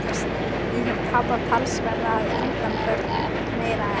Ég hef tapað talsverðu að undanförnu- meira en